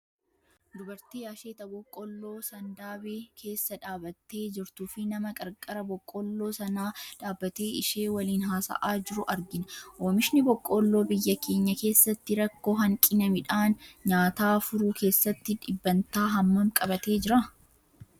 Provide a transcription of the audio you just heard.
Dubartii asheeta Boqqolloo sandaabe keessa dhaabattee jirtuu fi nama qarqara Boqqolloo sanaa dhaabatee ishee waliin haasa'aa jiru argina. Oomishni Boqqolloo biyya keenya keessatti rakkoo hanqina midhaan nyaataa furuu keessatti dhibbantaa hammam qabatee jira?